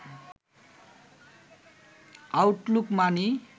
Outlook মানি